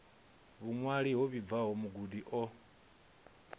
vhuṅwali ho vhibvaho mugudi o